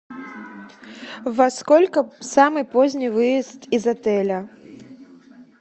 во сколько самый поздний выезд из отеля